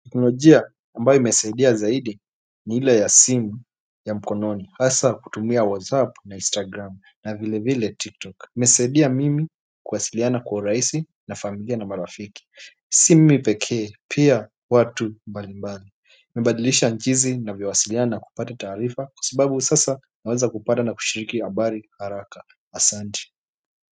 Teknolojia ambayo imesaidia zaidi ni ile ya simu ya mkononi hasa kutumia WhatsApp na instagram vile vile tiktok imenisaidia mimi kuwasiliana kwa urahisi na familia na marafiki si mimi pekee pia watu mbali mbali nimebadilisha jinsi navyo wasiliana na kupata taarifa kwa sababu sasa naweza kupata na kushiriki habari haraka asanti.